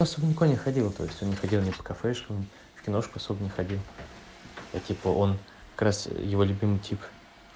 она со мной никуда не ходила то есть он не ходил со мной ни по кафешкам в киношку особо не ходил типа он как раз его любимый тип